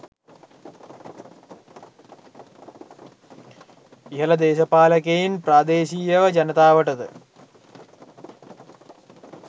ඉහල දේශපාලකයින් ප්‍රාදේශියව ජනතාවටද